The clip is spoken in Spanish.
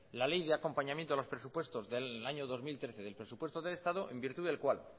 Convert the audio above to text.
la ley de acompañamiento de los presupuestos del año dos mil trece del presupuesto del estado en virtud del cual